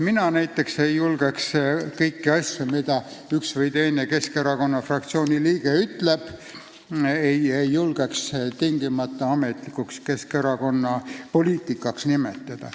Mina näiteks ei julgeks kõiki asju, mida üks või teine Keskerakonna fraktsiooni liige ütleb, tingimata Keskerakonna ametlikuks poliitikaks nimetada.